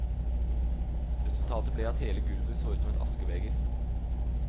Resultatet ble at hele gulvet så ut som et askebeger.